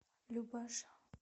любаша